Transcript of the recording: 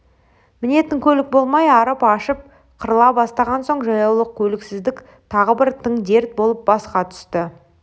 мінетін көлік болмай арып-ашып қырыла бастаған соң жаяулық көліксіздік тағы бір тың дерт болып басқа түсті